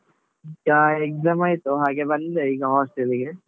ಈಗ exam ಆಯ್ತು ಹಾಗೆ ಬಂದೆ ಈಗ hostel ಗೆ.